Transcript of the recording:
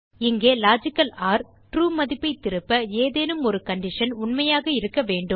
இங்கே logical or true மதிப்பைத் திருப்ப ஏதேனும் ஒரு கான்ஷன் உண்மையாக இருக்க வேண்டும்